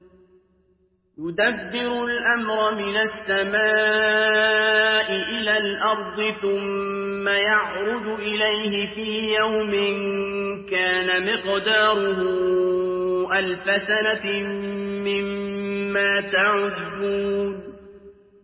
يُدَبِّرُ الْأَمْرَ مِنَ السَّمَاءِ إِلَى الْأَرْضِ ثُمَّ يَعْرُجُ إِلَيْهِ فِي يَوْمٍ كَانَ مِقْدَارُهُ أَلْفَ سَنَةٍ مِّمَّا تَعُدُّونَ